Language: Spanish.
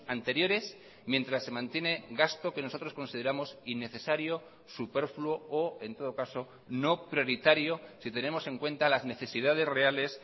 anteriores mientras se mantiene gasto que nosotros consideramos innecesario superfluo o en todo caso no prioritario si tenemos en cuenta las necesidades reales